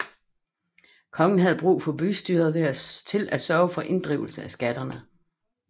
Kongen havde brug for bystyret til at sørge for inddrivelse af skatterne